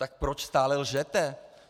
Tak proč stále lžete?